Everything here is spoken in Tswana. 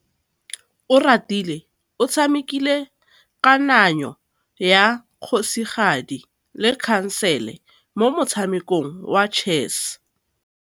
Oratile o tshamekile kananyô ya kgosigadi le khasêlê mo motshamekong wa chess.